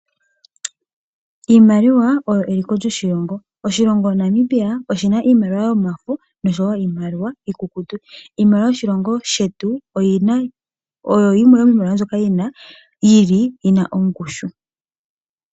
Iimaliwa oyo eliko lyoshilongo, oshilongo Namibia oshina iimaliwa yomafo nosho wo iimaliwa iikukutu. Iimaliwa yoshilongo shetu oyina, oyo yimwe yomiimaliwa mbyoka yili yina ongushu.